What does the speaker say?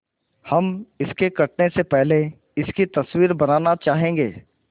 हम इसके कटने से पहले इसकी तस्वीर बनाना चाहेंगे